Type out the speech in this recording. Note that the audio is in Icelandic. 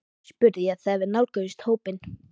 spurði ég þegar við nálguðumst hópinn.